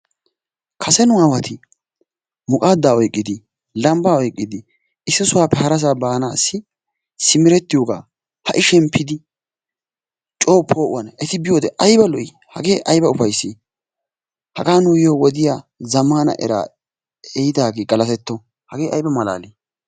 Kase nu aawati muqaaddaa oyqqidi; lambbaa oyqqidi issi sohuwaappe harasaa baanassi simeretiyoga ha"i shemppidi co po'uwan eti biyode ayba lo''i! hagee ayba ufayssi. hagaa nuyo wodiyaa zammana era ehidage galateto. hagee ayba malaali!